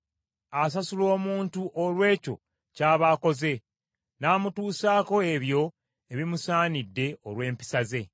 Asasula omuntu olw’ekyo ky’aba akoze; n’amutuusaako ebyo ebimusaanidde olw’empisa ze.